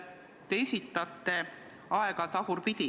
Te esitate aega tagurpidi.